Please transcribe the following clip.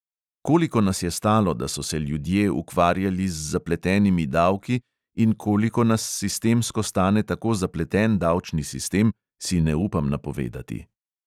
Koliko nas je stalo, da so se ljudje ukvarjali z zapletenimi davki, in koliko nas sistemsko stane tako zapleten davčni sistem, si ne upam napovedati.